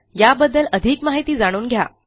याबद्दल अधिक माहिती जाणून घ्या